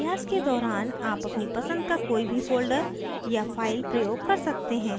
अभ्यास के दौरान आप अपनी पसंद का कोई भी folder या file प्रयोग कर सकते हैं